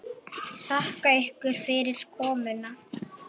Þakka ykkur fyrir komuna.